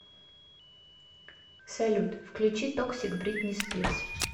салют включи токсик бритни спирс